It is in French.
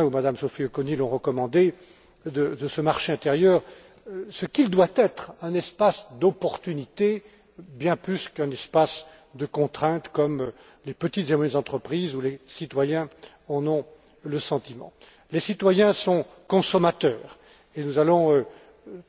Juvin ou Mme Auconie l'ont recommandé, de ce marché intérieur ce qu'il doit être un espace d'opportunités, bien plus qu'un espace de contraintes, comme les petites et moyennes entreprises ou les citoyens en ont le sentiment. Les citoyens sont consommateurs, et nous allons